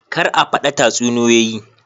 Kar a fada tatsuniyoyi